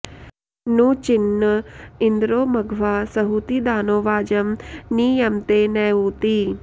नू चि॑न्न॒ इन्द्रो॑ म॒घवा॒ सहू॑ती दा॒नो वाजं॒ नि य॑मते न ऊ॒ती